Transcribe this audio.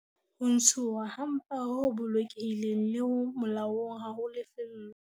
Ho ntshuwa ha mpa ho bolokehileng le ho molaong ha ho lefellwe